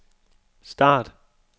start